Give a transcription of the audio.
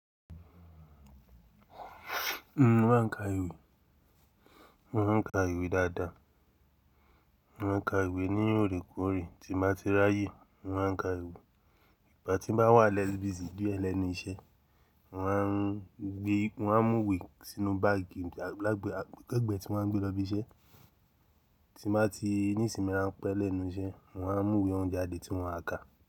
N ó má ń kà ìwé, n ó má ń kà ìwé dáadáa. N ó má ń kà ìwé ní òrékòre tí má ti ráyè, n ó má ń kà ìwé ìgbà tí má a wà less busy díẹ̀ lẹ́nu iṣẹ́. N ó má ń gbé, n ó má ń mú ìwé sínú báàgì lágbẹ, lẹ́gbẹ̀ẹ́ tí n ó má ń gbé lọ ibi iṣẹ́. Tí má ti ní ìsinmi rán pẹ́ lẹ́nu iṣẹ́, n ó má ń mú ìwé oún jadé tí n ó ma kà.